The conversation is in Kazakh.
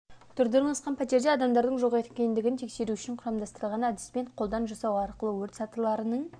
торда орналасқан пәтерде адамдардың жоқ екендігін тексеру үшін құрамдастырылған әдіспен қолдан жасау арқылы өрт сатыларының